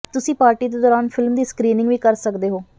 ਤੁਸੀਂ ਪਾਰਟੀ ਦੇ ਦੌਰਾਨ ਫਿਲਮ ਦੀ ਸਕ੍ਰੀਨਿੰਗ ਵੀ ਕਰ ਸਕਦੇ ਹੋ